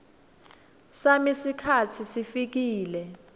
sami sikhatsi sesifikile